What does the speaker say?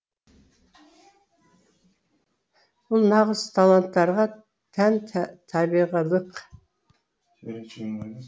бұл нағыз таланттарға тән табиғилық